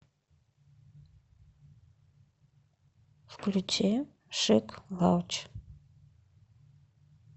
включи шик лауч